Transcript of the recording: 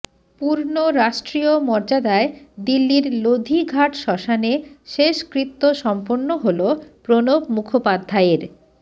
পূর্ণ রাষ্ট্রীয় মর্যাদায় দিল্লির লোধি ঘাট শ্মশানে শেষকৃত্য সম্পন্ন হল প্রণব মুখোপাধ্যায়ের